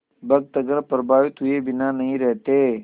भक्तगण प्रभावित हुए बिना नहीं रहते